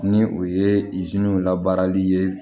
Ni o ye la baarali ye